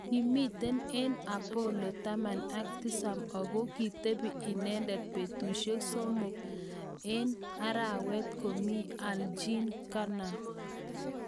Ki mitei eng' Apollo taman ak tisab ako kitepi inendet petushek somok eng' arawet komi alGene Cernan